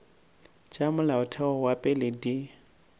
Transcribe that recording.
tša molaotheo wa pele di